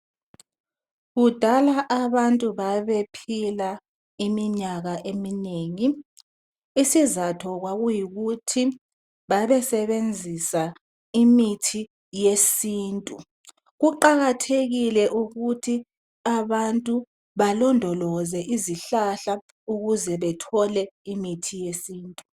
kudala abantu babephila iminyaka eminengi isizatho kwakuyikuthi babesebenzisa imithi yesintu kubalulekile ukuba abantu balondoloze izihlahla ukuze bethole imithi yesintu